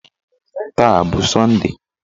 Taa a bụ sọnde?